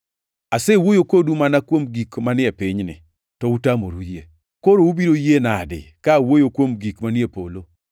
Asewuoyo kodu mana kuom gik manie pinyni, to utamoru yie; koro ubiro yie nade ka awuoyo kuom gik manie polo?